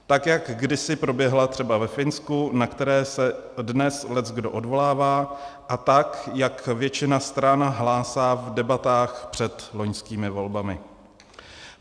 Tak jak kdysi proběhla třeba ve Finsku, na které se dnes leckdo odvolává, a tak jak většina stran hlásá v debatách před loňskými volbami.